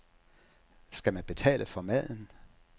Skal man betale for maden?